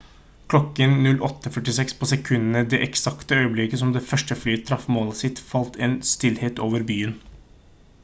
klokken 08:46 på sekundet det eksakte øyeblikket som det første flyet traff målet sitt falt en stillhet over byen